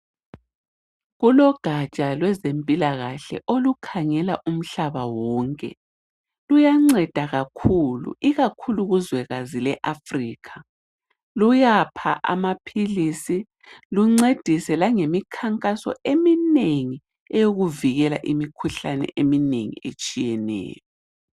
Kulogatsha lwezempilakahle olukhangela umhlaba wonke luyanceda kakhulu, ikakhulu kuzwekazi leAfrica luyapha amaphilisi luncedise lange mikhankaso eminengi eyokuvikela imikhuhlane eminengi etshiyeneyo.